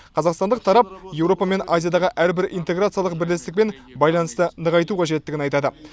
қазақстандық тарап еуропа мен азиядағы әрбір интеграциялық бірлестікпен байланысты нығайту қажеттігін айтады